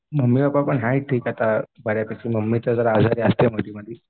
Mummy papa पण हाईत ठीक आता बऱ्यापैकी मम्मीचं जरा आजारी असते मधी मधी.